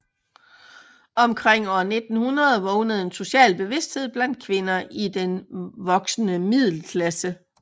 Omkring år 1900 vågnede en social bevidsthed blandt kvinder i den voksende middelklasse